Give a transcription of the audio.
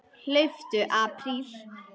Hlauptu apríl.